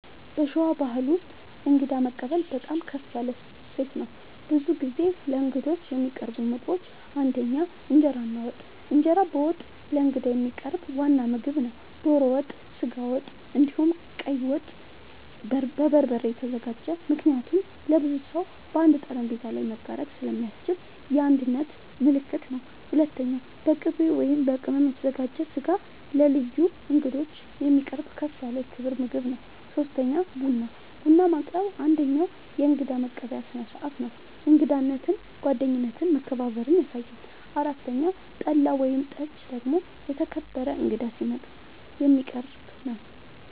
በሸዋ ባሕል ውስጥ እንግዳ መቀበል በጣም ከፍ ያለ እሴት ነው። ብዙ ጊዜ ለእንግዶች የሚቀርቡ ምግቦች ፩) እንጀራ እና ወጥ፦ እንጀራ በወጥ ለእንግዳ የሚቀርብ ዋና ምግብ ነው። ዶሮ ወጥ፣ ስጋ ወጥ፣ እንዲሁም ቀይ ወጥ( በበርበሬ የተዘጋጀ) ምክንያቱም ለብዙ ሰው በአንድ ጠረጴዛ ላይ መጋራት ስለሚያስችል የአንድነት ምልክት ነው። ፪.. በቅቤ እና በቅመም የተዘጋጀ ስጋ ለልዩ እንግዶች የሚቀርብ ከፍ ያለ የክብር ምግብ ነው። ፫. ቡና፦ ቡና ማቅረብ አንደኛዉ የእንግዳ መቀበያ ስርዓት ነው። እንግዳነትን፣ ጓደኝነትን እና መከባበርን ያሳያል። ፬ .ጠላ ወይም ጠጅ ደግሞ የተከበረ እንግዳ ሲመጣ የሚቀረብ ነዉ